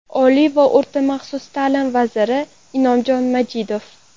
Oliy va o‘rta maxsus ta’lim vaziri Inomjon Majidov.